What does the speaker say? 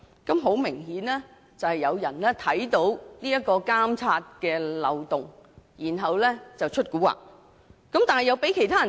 這顯然是有人在察覺到有監察漏洞後"出古惑"，但卻被人發現。